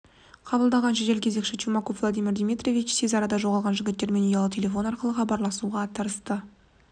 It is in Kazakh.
қабылдаған жедел кезекшісі чумаков владимир дмитриевич тез арада жоғалған жігіттермен ұялы телефон арқылы хабарласуға тырысты